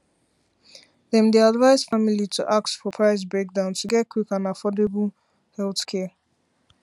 dem dey advise families to ask for price breakdown to get quick and affordable healthcare